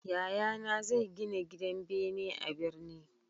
Yayana zai gina gidan bene a birni